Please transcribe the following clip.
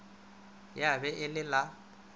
ya be e le la